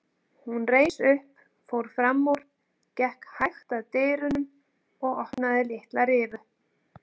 Hún reis upp, fór fram úr, gekk hægt að dyrunum og opnaði litla rifu.